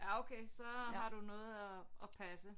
Ja okay så har du noget at at passe